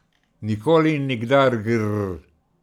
Nikoli in nikdar, grrrrr ...